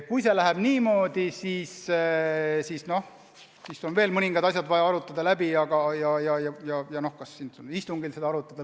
Kui see läheb niimoodi, siis on veel mõningad asjad vaja läbi arutada.